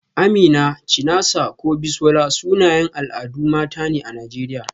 Amina, Chinasa ko Bisola, sunayen al'adun mata ne a Najeriya.